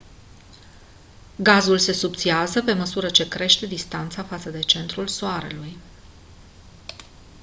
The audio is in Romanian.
gazul se subțiază pe măsură ce crește distanța față de centrul soarelui